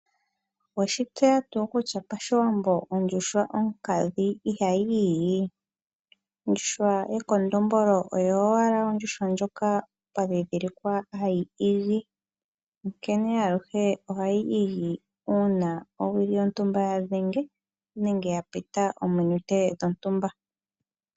Oweshi tseya tuu kutya pashiwambo ondjuhwa onkadhi ihayi igi, ondjuhwa yekondombolo oyo owala ondjuhwa ndjoka pwa dhidhilikwa hayi igi onkene aluhe ohayi igi uuna owili yontumba ya dhenge nenge ya pita ominute dhontumba.